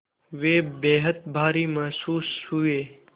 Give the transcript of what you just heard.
वे बेहद भारी महसूस हुए